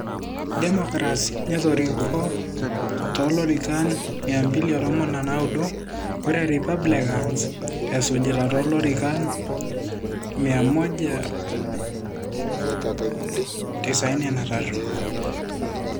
Democrants netoriko tolorikan 219 ore Republicans esujita tolorikan 193.